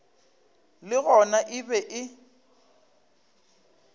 le gona e be e